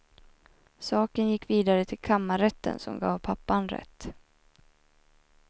Saken gick vidare till kammarrätten som gav pappan rätt.